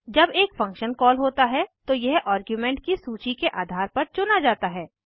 जब एक function call होता है तो यह आर्ग्यूमेंट की सूची के आधार पर चुना जाता है